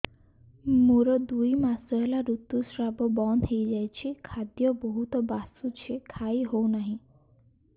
ମୋର ଦୁଇ ମାସ ହେଲା ଋତୁ ସ୍ରାବ ବନ୍ଦ ହେଇଯାଇଛି ଖାଦ୍ୟ ବହୁତ ବାସୁଛି ଖାଇ ହଉ ନାହିଁ